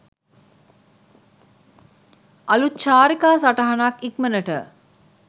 අළුත් චාරිකා සටහනක් ඉක්මනට